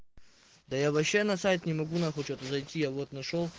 да я вообще на сайт не могу нахуй че-то зайти я вот нашёл